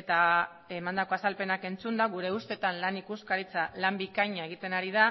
eta emandako azalpenak entzunda gure ustetan lan ikuskaritza lan bikaina egiten ari da